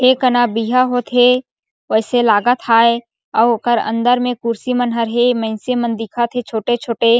ए कना बिहा होथे वैसे लागत हे अउ ओकर अंदर म कुर्सी मन हे मइनसे मन ह दिखत हे छोटे-छोटे--